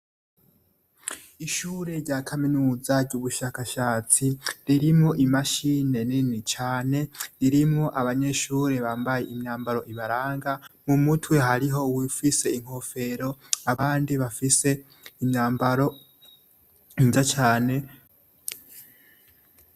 Ishure rya kaminuza ry'ubushakashatsi ririmo imashine nini cane ririmwo abanyeshuri bambaye imyambaro ibaranga mu mutwe hariho uwufise inkofero abandi bafise imyambaro nziza cane.